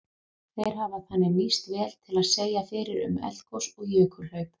Þeir hafa þannig nýst vel til að segja fyrir um eldgos og jökulhlaup.